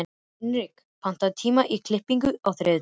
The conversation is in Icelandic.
Hinrik, pantaðu tíma í klippingu á þriðjudaginn.